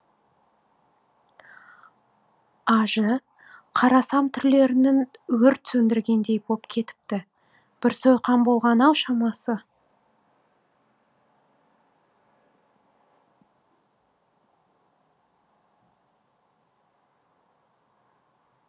ажы қарасам түрлерінің өрт сөндіргендей боп кетіпті бір сойқан болған ау шамасы